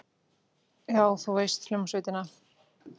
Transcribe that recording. Já, þú veist, hljómsveitina.